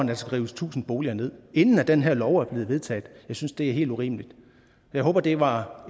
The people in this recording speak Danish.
der skal rives tusind boliger ned inden den her lov er blevet vedtaget jeg synes det er helt urimeligt jeg håber det var